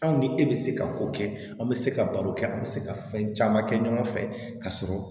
Aw ni e bɛ se ka ko kɛ an bɛ se ka baro kɛ an bɛ se ka fɛn caman kɛ ɲɔgɔn fɛ ka sɔrɔ